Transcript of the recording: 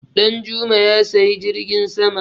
Danjuma Ya siyi jirgin sama.